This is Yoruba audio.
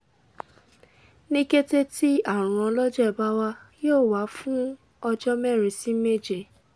ni kete ti arun ọlọjẹ ba wa yoo wa fun ọjọ merin si meje